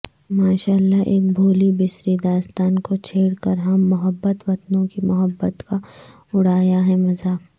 ماشاءاللہ ایک بھولی بسری داستان کو چھیڑکرہم محب وطنوں کی محبت کا اڑایا ہے مزاق